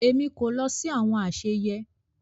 Èmi kò lọ sí àwọn àsèyé